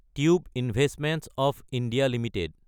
tube investments of India Ltd